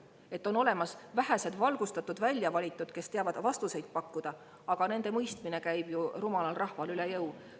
Et on olemas vähesed valgustatud väljavalitud, kes teavad vastuseid pakkuda, aga nende mõistmine käib rumalal rahval üle jõu.